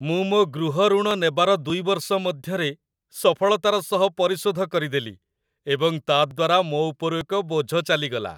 ମୁଁ ମୋ ଗୃହ ଋଣ ନେବାର ୨ ବର୍ଷ ମଧ୍ୟରେ ସଫଳତାର ସହ ପରିଶୋଧ କରିଦେଲି ଏବଂ ତା'ଦ୍ଵାରା ମୋ ଉପରୁ ଏକ ବୋଝ ଚାଲିଗଲା |